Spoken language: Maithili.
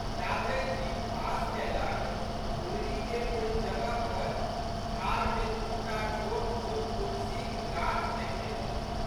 जाधरि जीप पास कैलक गुलरीके ओहि जगह पर झाड़मे दू टा छोटछोट तुलसीक गाछ देखयलै।